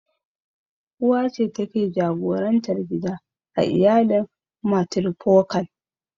Uwa ce take jagorantar gida a iyalin matrifokal.